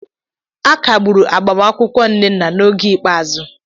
A kagburu agbamakwụkwọ nnenna n'oge ikpeazụ